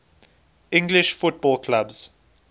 english football clubs